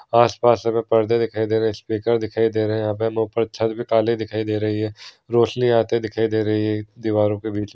आसपास हमे पर्दे दिखाई दे रहे है स्पीकर दिखाई दे रहे है यहा पे ऊपर छत पे ताल्ले दिखाई दे रही है रौशनी आते दिखाई दे रही है दीवारों के बीच।